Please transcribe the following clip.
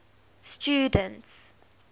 students